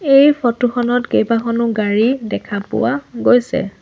এই ফটো খনত কেইবাখনো গাড়ী দেখা পোৱা গৈছে।